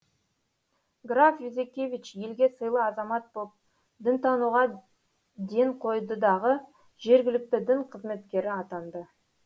граф юзекевич елге сыйлы азамат боп дінтануға ден қойды дағы жергілікті дін қызметкері атанды